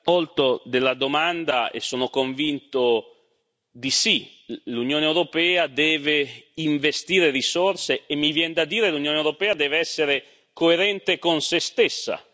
Onorevole Sokol sono convinto di sì. L'Unione europea deve investire risorse e mi viene da dire, l'Unione europea deve essere coerente con sé stessa.